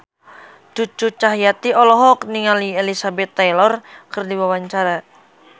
Cucu Cahyati olohok ningali Elizabeth Taylor keur diwawancara